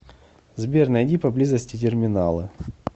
сбер найди поблизости терминалы